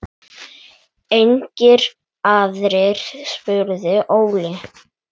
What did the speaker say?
Engir aðrir? spurði Óli.